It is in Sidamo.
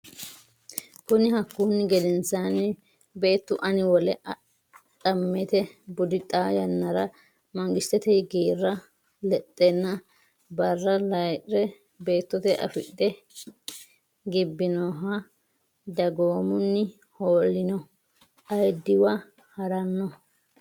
Kuni Hakkunni gedensaanni beettu anni wole adhammete budi xaa yannara mangisete geerra lexxenna barra layi re beettote effidhe gibbinohonna dagoomuno hoolino ayiddiwa ha ranno.